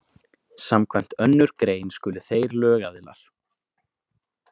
Samkvæmt önnur grein skulu þeir lögaðilar.